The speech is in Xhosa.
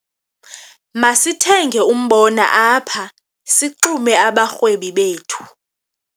Masithenge umbona apha sixume abarhwebi bethu.